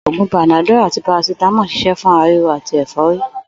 Ògún Panadol àti paracetamol ń s̩is̩é̩ fún ara ríro àti è̩fó̩rí